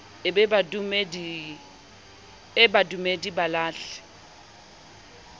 e be badumedi ba lahle